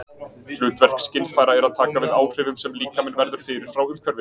Hlutverk skynfæra er að taka við áhrifum sem líkaminn verður fyrir frá umhverfinu.